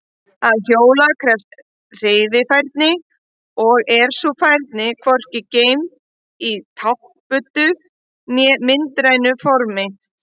Að hjóla krefst hreyfifærni og er sú færni hvorki geymd í táknbundnu né myndrænu formi.